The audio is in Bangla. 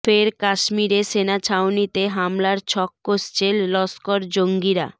ফের কাশ্মীরে সেনা ছাউনিতে হামলার ছক কষছে লস্কর জঙ্গিরা